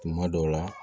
Tuma dɔw la